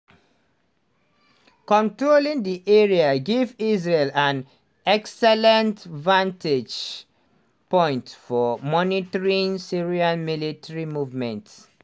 controlling di area give israel an excellent vantage point for monitoring syrian military movements.